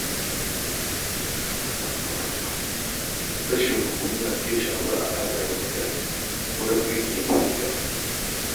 Rashin haƙuri na iya shafar alaƙa da mutane a wurin aiki ko gida.